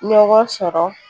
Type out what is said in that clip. Ɲɔgɔn sɔrɔ